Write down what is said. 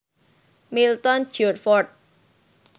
Milton George Fort